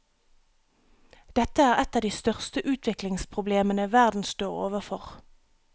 Dette er et av de største utviklingsproblemene verden står overfor.